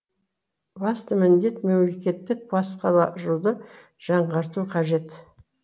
басты міндет мемлекеттік басқаруды жаңарту қажет